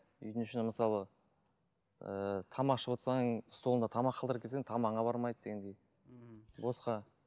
үйдің ішінде мысалы ыыы тамақ ішіп отырсаң столыңда тамақ қалдырып кетсең тамағыңа бармайды дегендей мхм босқа